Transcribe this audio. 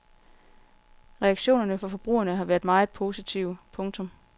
Reaktionerne fra forbrugerne har været meget positive. punktum